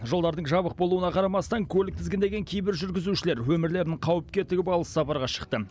жолдардың жабық болуына қарамастан көлік тізгіндеген кейбір жүргізушілер өмірлерін қауіпке тігіп алыс сапарға шықты